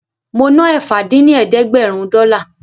Mo ná ẹ̀fà dín ní ẹ̀ẹ́dẹ́gbẹ́rún dọ́là